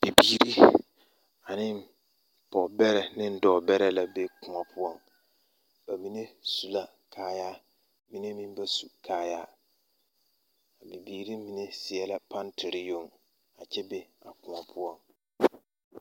Bibiiri ane pɔgebɛrɛ ane dɔɔbɛrɛ la be koɔ poɔ ba mine su la kaayaa ba minevmeŋ ba su kaayaa bibiiri mine seɛ la pantere yoŋ a kyɛ be a koɔ poɔ.